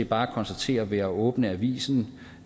bare konstatere ved at åbne avisen